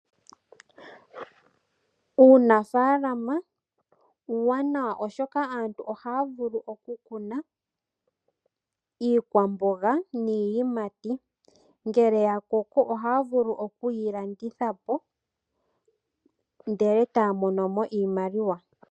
Uunafalama uwanawa oshoka aantu ohaya vulu oku kuna iikwamboga niiyimati ngele ya koko ohaya vulu okuyi landitha po ndele etaya mono mo iimaliwa.